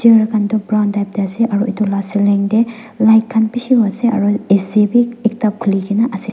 brown type tae ase aru edu la ceiling tae light khan bishi ase aro A_C bi ekta khulikaena ase.